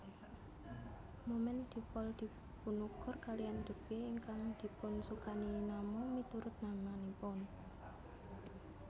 Momen dipol dipunukur kaliyan debye ingkang dipunsukani nama miturut namanipun